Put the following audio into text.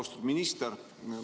Austatud minister!